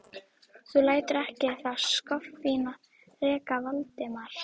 Þú lætur ekki það skoffín reka Valdimar!